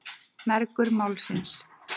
Mergur málsins.